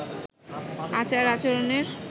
আচার আচরণের